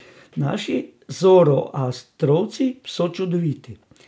Naši zoroastrovci so čudoviti.